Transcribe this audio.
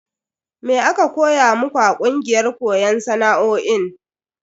Me aka koya muku a kungiyar koyon sana'o'in?